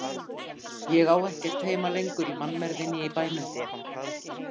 Ég á ekkert heima lengur í mannmergðinni í bænum.